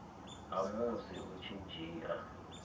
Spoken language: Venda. ha musi u tshi dzhia